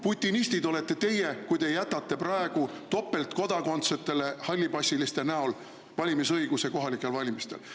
Putinistid olete teie, kui te jätate praegu topeltkodakondsetele hallipassiliste näol valimisõiguse kohalikel valimistel.